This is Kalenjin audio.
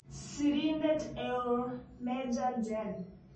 Sirindeet eoo-Meja Jen